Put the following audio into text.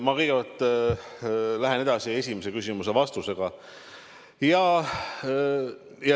Ma kõigepealt lähen edasi esimese küsimuse vastusega.